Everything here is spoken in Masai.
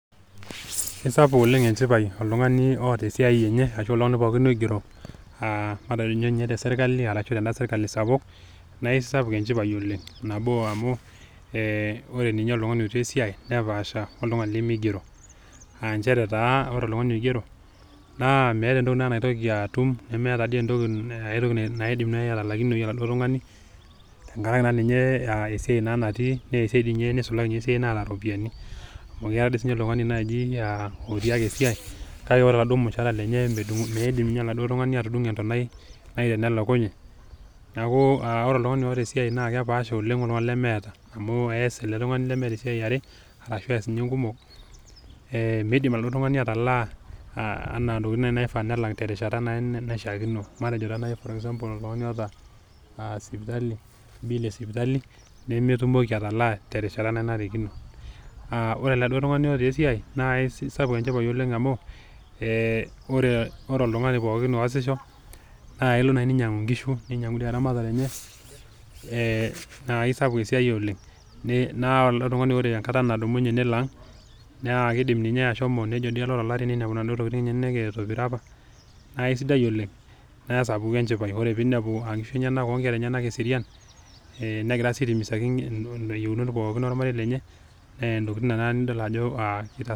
Aisapuk oleng' enchipai toltung'ani oata esiai enye, ashu toltung'ani pooki oigero, matejo ake iyie ninye te serkali ashu tenda serkali sapuk naa ai sapuk enchipai oleng'. Nabo, amu ore ninye oltung'ani otii esiai nepaasha oltung'ani lemeigero, um nchere taa ore oltung'ani oigero naa meata ake entoki naitoki atum nemeata entoki naa eidim naajinatalakinoyu oltung'ani, tengarake ninye esiai natii naa esiai neisulaki dei ninye esiai naa ta iropiani. Amu Kenya dei sii ninye oltung'ani naaji otiake esiai, kake Kore taa olmushara lenye meidim ninye oladuo tung'ani atudung'o entanai naib tenelakunye. Neaku ore oltung'ani oata esiai naa ekepaasha oleng' oltung'ani lemeata, amu eas elde tung'ani lemeata esiai e are ashu was ninye inkumok meidim oladuo tung'ani atalaa intokitin kumok naishaa duo nelaki naishaakino, matejo taa naji for example oltung'ani oata sipitali, bill e sipitali, nemetumoki atalaa terishata nanarikino, ore oladuo tung'ani oata esiai naa aisapuk enchipai oleng' amu, ore oltung'ani pooki oasisho naa elo naaji neinyangu inkishu teramatare enye ,naa aisapuk esiai oleng'. Naa ore ele tung'ani enkata nadumunye nelo aang', naa keidim ninye ashomo to lari neinepu naduo tokitin enyena meitobira opa naa aisidai oleng' naasapuku enchipai, ore pee einepu inkera enyena negira sii aitimizaki iyieunot pooki olmarei lenye naa intokitin Nena nidol.